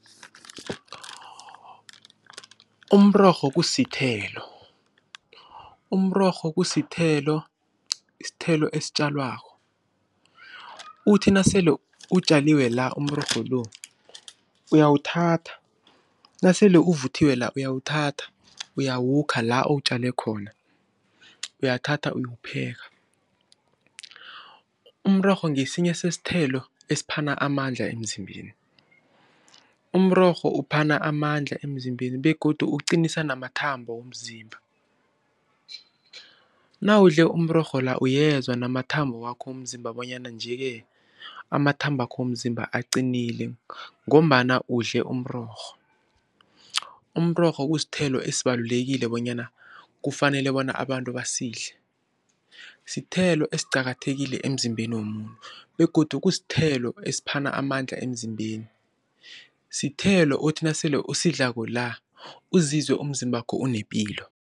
Umrorho kusithelo, umrorho kusithelo, isithelo esitjalwako. Uthi nasele utjaliwe la, umrorho lo uyawuthatha nasele uvuthiwe la uyawuthatha uyawukha la uwutjale khona uyathatha uyowupheka. Umrorho ngesinye sesithelo esiphana amandla emzimbeni. Umrorho uphana amandla emzimbeni begodu uqinisa namathambo womzimba. Nawudle umrorho la uyezwa namathambo wakho womzimba bonyana nje-ke amathabakho womzimba aqinile ngombana udle umrorho. Umrorho kusithelo esibalulekile bonyana kufanale bona abantu basidle, sithelo esiqakathekile emzimbeni womuntu begodu kusithelo esiphana amandla emzimbeni. Sithelo uthi nasele usidlako la uzizwe umzimbakho unepilo.